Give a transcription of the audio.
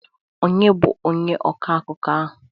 Onye bụ onye ọkọ akụkọ ahụ?